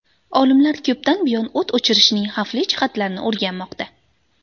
Olimlar ko‘pdan buyon o‘t o‘chirishning xavfli jihatlarini o‘rganmoqda.